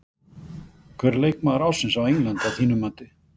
Hver er leikmaður ársins á Englandi að þínu mati?